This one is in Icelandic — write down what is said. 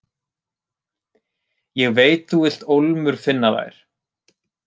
Ég veit þú vilt ólmur finna þær.